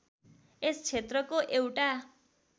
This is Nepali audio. यस क्षेत्रको एउटा